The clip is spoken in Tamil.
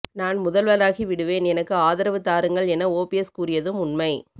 நான் முதல்வராகிவிடுவேன் எனக்கு ஆதரவு தாருங்கள் என ஓபிஎஸ் கூறியதும் உண்மை